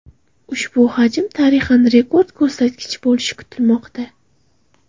Ushbu hajm tarixan rekord ko‘rsatkich bo‘lishi kutilmoqda.